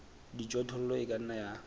dijothollo e ka nna ya